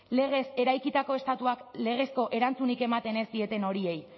legez eraikitako estatuak legezko erantzunik ematen ez dieten horiei